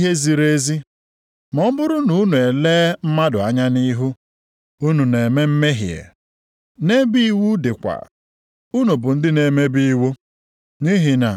Ọ bụrụ na unu na-edebezuo iwu nke eze anyị dịka e dere ya nʼAkwụkwọ Nsọ, “Hụnụ ndị agbataobi unu nʼanya dịka unu onwe unu,” + 2:8 \+xt Lev 19:18\+xt* unu na-eme ihe ziri ezi.